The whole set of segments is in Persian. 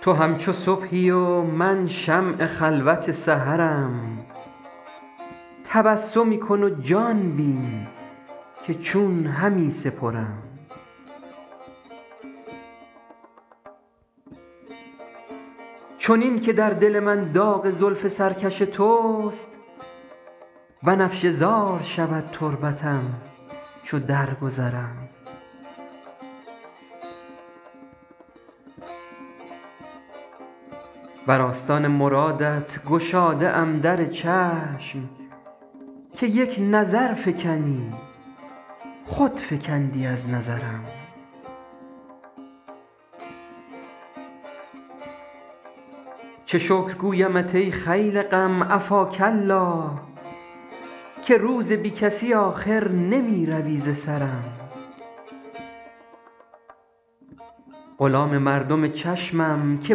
تو همچو صبحی و من شمع خلوت سحرم تبسمی کن و جان بین که چون همی سپرم چنین که در دل من داغ زلف سرکش توست بنفشه زار شود تربتم چو درگذرم بر آستان مرادت گشاده ام در چشم که یک نظر فکنی خود فکندی از نظرم چه شکر گویمت ای خیل غم عفاک الله که روز بی کسی آخر نمی روی ز سرم غلام مردم چشمم که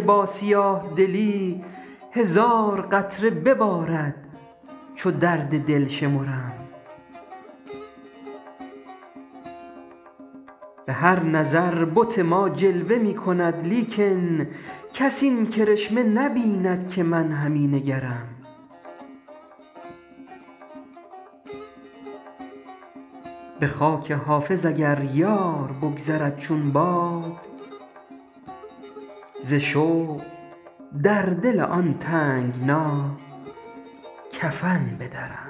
با سیاه دلی هزار قطره ببارد چو درد دل شمرم به هر نظر بت ما جلوه می کند لیکن کس این کرشمه نبیند که من همی نگرم به خاک حافظ اگر یار بگذرد چون باد ز شوق در دل آن تنگنا کفن بدرم